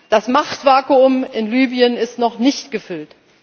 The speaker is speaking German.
Das Machtvakuum in Libyen ist noch nicht gefüllt.